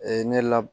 ne la